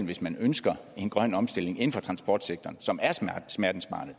hvis man ønsker en grøn omstilling inden for transportsektoren som er smertensbarnet